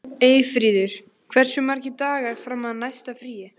Eyfríður, hversu margir dagar fram að næsta fríi?